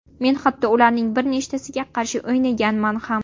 Men hatto ularning bir nechtasiga qarshi o‘ynaganman ham.